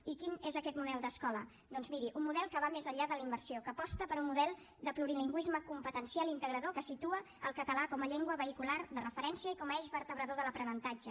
i quin és aquest model d’escola doncs miri un model que va més enllà de la immersió que aposta per un model de plurilingüisme competencial integrador que situa el català com a llengua vehicular de referència i com a eix vertebrador de l’aprenentatge